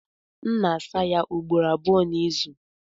M na-asa ya ugboro abụọ n'izu.